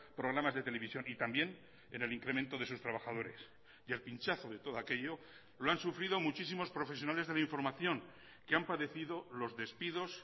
programas de televisión y también en el incremento de sus trabajadores y el pinchazo de todo aquello lo han sufrido muchísimos profesionales de la información que han padecido los despidos